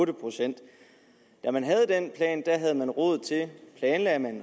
procent da man havde den plan havde man råd til